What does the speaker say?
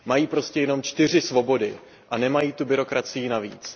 Mají prostě jenom čtyři svobody a nemají tu byrokracii navíc.